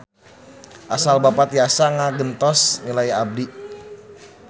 Asal Bapa tiasa ngagentos nilai abdi.